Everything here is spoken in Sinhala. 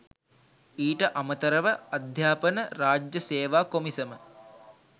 ඊට අමතරව අධ්‍යාපන රාජ්‍ය සේවා කොමිසම